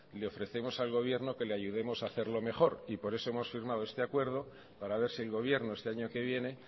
le ofrecemos al gobierno que le ayudemos a hacerlo mejor por eso hemos firmado este acuerdo para ver si el gobierno este año que viene